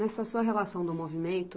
Nessa sua relação do movimento,